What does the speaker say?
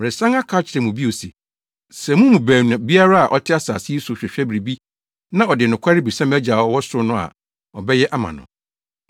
“Meresan aka akyerɛ mo bio se, sɛ mo mu baanu biara a ɔte asase yi so hwehwɛ biribi na ɔde nokware bisa mʼagya a ɔwɔ ɔsoro no a, ɔbɛyɛ ama no.